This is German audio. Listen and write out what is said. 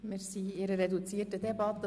Wir führen eine reduzierte Debatte.